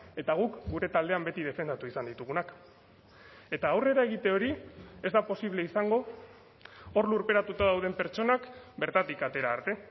eta guk gure taldean beti defendatu izan ditugunak eta aurrera egite hori ez da posible izango hor lurperatuta dauden pertsonak bertatik atera arte